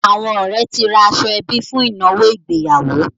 Àwọn ọ̀rẹ́ ti ra aṣọ-ẹbí fún ìnáwó ìgbéyàwó.